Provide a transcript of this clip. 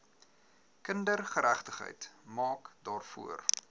kindergeregtigheid maak daarvoor